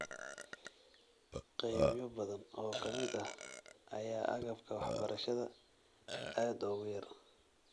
Qaybo badan oo ka mid ah ayaa agabka waxbarashada aad ugu yar.